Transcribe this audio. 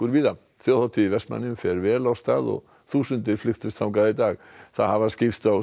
víða þjóðhátíð í Vestmannaeyjum fer vel af stað og þúsundir flykktust þangað í dag það hafa skipst á